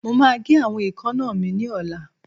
Mo máa gé àwọn èékánná mi ní ọ̀la